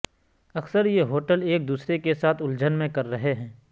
اکثر یہ ہوٹل ایک دوسرے کے ساتھ الجھن میں کر رہے ہیں